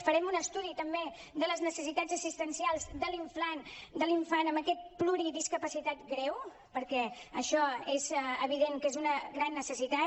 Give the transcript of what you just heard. farem un estudi també de les necessitats assistencials de l’infant amb aquesta pluridiscapacitat greu perquè això és evident que és una gran necessitat